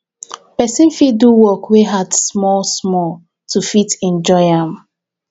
person fit do work wey hard small small to fit enjoy am